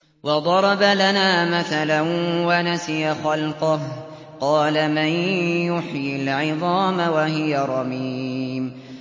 وَضَرَبَ لَنَا مَثَلًا وَنَسِيَ خَلْقَهُ ۖ قَالَ مَن يُحْيِي الْعِظَامَ وَهِيَ رَمِيمٌ